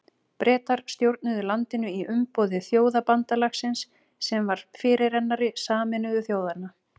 Bretar stjórnuðu landinu í umboði Þjóðabandalagsins sem var fyrirrennari Sameinuðu þjóðanna.